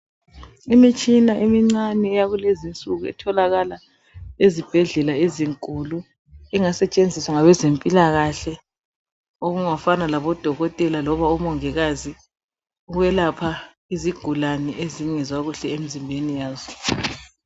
imitshina emincane yakulezinsuku etholaala ezibhedlela ezinkulu engasetshenziswa ngabezempilakahle okungafana labo dokotela loba omongikazi ukwelapha izigulane ezingezwakahle emizimbeni yazo